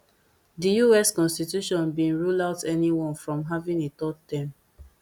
di us constitution bin rule out anyone from having a third term